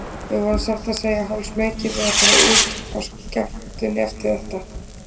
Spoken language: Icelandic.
Við vorum satt að segja hálfsmeykir við að fara út á skektunni eftir þetta.